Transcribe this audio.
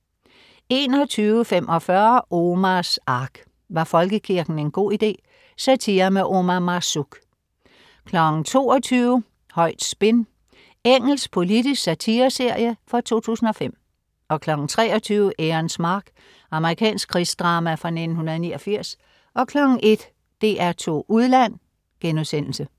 21.45 Omars Ark. Var folkekirken en god idé? Satire med Omar Marzouk 22.00 Højt spin. Engelsk politisk satireserie fra 2005 23.00 Ærens mark. Amerikansk krigsdrama fra 1989 01.00 DR2 Udland*